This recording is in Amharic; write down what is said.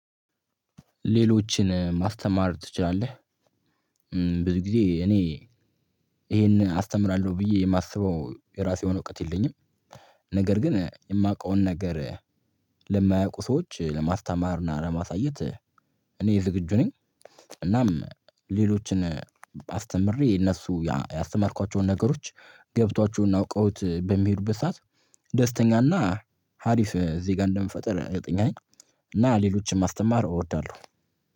ሌሎችን ማስተማር ትችላለህ? ብዙ ጊዜ እኔ ይሄን አስተምራለሁ ብዬ የማስበው የራሴ የሆነ እውቀት የለኝም ነገር ግን የማውቀውን ነገር ለማያውቁ ሰዎች ለማስተማር እና ለማሳየት እኔ ዝግጁ ነኝ። እናም ሌሎችን አስተምሬ እነሱ ያስተማርኳቸውን ነገሮች ገብቷቸው እና አውቀውት በሚሄዱበት ሰዓት ደስተኛና አሪፍ ዜጋ እንደምፈጥር እርግጠኛ ነኝ። እና ሌሎችን ማስተማር እወዳለሁ